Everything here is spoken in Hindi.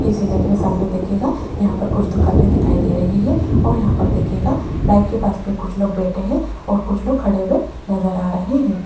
इस इमेज में सामने देखिएगा यहां पर कुछ दुकाने दिखाई दे रही है और यहां पर देखिएगा बाइक के पास में कुछ लोग बैठे हैं और कुछ लोग खड़े हुए नजर आ रहे है।